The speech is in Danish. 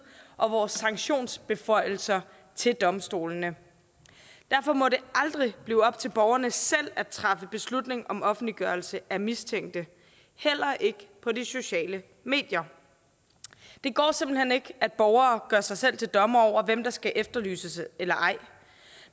og vores sanktionsbeføjelser til domstolene derfor må det aldrig blive op til borgerne selv at træffe beslutning om offentliggørelse af mistænkte heller ikke på de sociale medier det går simpelt hen ikke at borgere gør sig selv til dommer over hvem der skal efterlyses eller ej